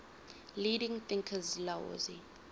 leading thinkers laozi